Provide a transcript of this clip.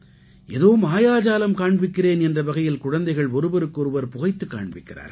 ஏதோ மாயாஜாலம் காண்பிக்கிறேன் என்ற வகையில் குழந்தைகள் ஒருவருக்கு ஒருவர் புகைத்துக் காண்பிக்கிறார்கள்